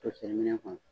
Toseri minɛ kɔnɔ